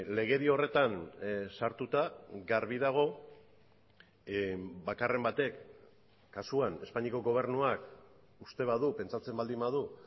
legedi horretan sartuta garbi dago bakarren batek kasuan espainiako gobernuak uste badu pentsatzen baldin badu